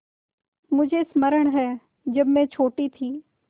मुझे स्मरण है जब मैं छोटी थी